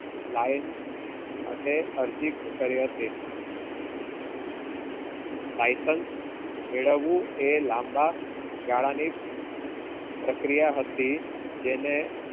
lion માટે અરજી કરી હતી license મિલાવું એ લાંબા ગાળાની પ્રક્રિયા હતી, જેને